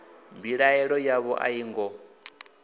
mbilaelo yavho a yo ngo